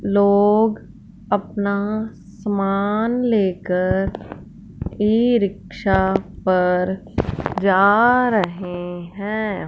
लोग अपना सामान लेकर ईरिक्शा पर जा रहे हैं।